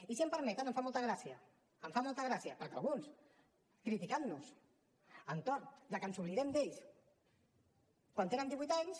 i si m’ho permeten em fa molta gràcia em fa molta gràcia que alguns criticant nos que ens oblidem d’ells quan tenen divuit anys